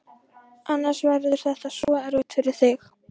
Annars verður þetta svo erfitt fyrir þig.